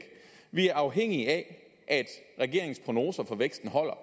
vi er afhængige af at regeringens prognoser for væksten holder